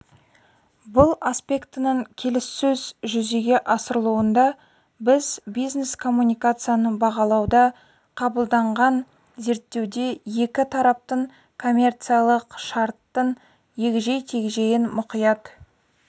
бұл аспектінінің келіссөз жүзеге асырылуында біз бизнес коммуникацияны бағалауда қабылданған зерттеуде екі тараптың коммерциялық шарттың егжей-тегжейін мұқият